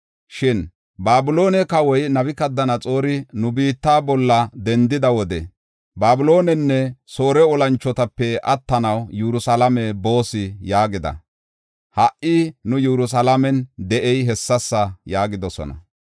Shin Babiloone kawoy Nabukadanaxoori nu biitta bolla dendida wode, ‘Babiloonenne Soore olanchotape attanaw, Yerusalaame boos’ yaagida. Ha77i nu Yerusalaamen de7ey hessasa” yaagidosona.